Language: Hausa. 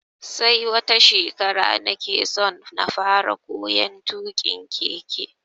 Sai wata shekara nake so na fara koyon tuƙin keke.